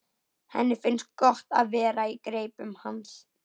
Henni finnst gott að vera í greipum hans.